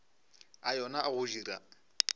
a yona a go dira